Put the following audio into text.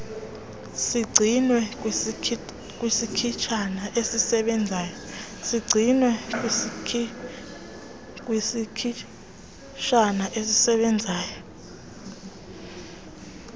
sigcinwe kwisikhitshana esisebenzayo